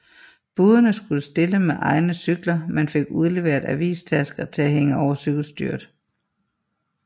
Budene skulle stille med egne cykler men fik udleveret avistasker til at hænge over cykelstyret